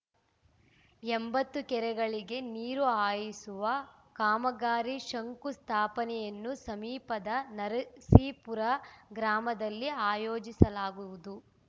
ಎಂಬತ್ತು ಕೆರೆಗಳಿಗೆ ನೀರು ಹಾಯಿಸುವ ಕಾಮಗಾರಿ ಶಂಕುಸ್ಥಾಪನೆಯನ್ನು ಸಮೀಪದ ನರಸೀಪುರ ಗ್ರಾಮದಲ್ಲಿ ಆಯೋಜಿಸಲಾಗುವುದು